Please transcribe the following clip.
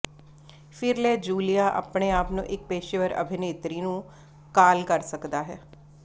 ਫਿਰ ਲੈ ਜੂਲੀਆ ਆਪਣੇ ਆਪ ਨੂੰ ਇੱਕ ਪੇਸ਼ੇਵਰ ਅਭਿਨੇਤਰੀ ਨੂੰ ਕਾਲ ਕਰ ਸਕਦਾ ਹੈ